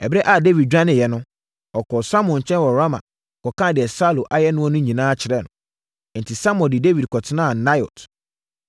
Ɛberɛ a Dawid dwaneeɛ no, ɔkɔɔ Samuel nkyɛn wɔ Rama kɔkaa deɛ Saulo ayɛ noɔ no nyinaa kyerɛɛ no. Enti, Samuel de Dawid kɔtenaa Naiot.